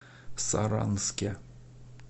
саранске